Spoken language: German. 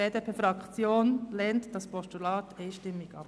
Die BDP-Fraktion lehnt das Postulat einstimmig ab.